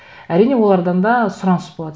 әрине олардан да сұраныс болады